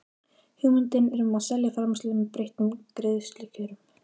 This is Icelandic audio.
hugmyndir um að selja framleiðslu með breyttum greiðslukjörum.